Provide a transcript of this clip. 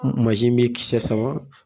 mi kisɛ sama